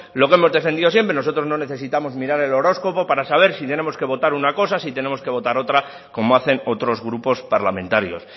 lo que hemos defendido siempre nosotros no necesitamos mirar el horóscopo para saber sí tenemos que votar una cosa sí tenemos que votar otra como hacen otros grupos parlamentarios